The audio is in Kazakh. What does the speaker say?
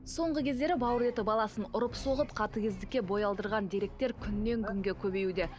соңғы кездері бауыр еті баласын ұрып соғып қатыгездікке бой алдырған деректер күннен күнге көбеюде